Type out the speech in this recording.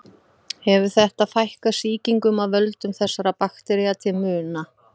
Hefur þetta fækkað sýkingum af völdum þessara baktería til muna.